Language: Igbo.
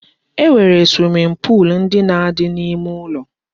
E nwere swimming pool ndị na-adị n'ime ụlọ